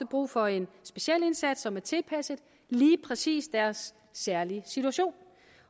brug for en speciel indsats som er tilpasset lige præcis deres særlige situation